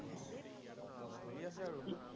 চলি আছে আৰু।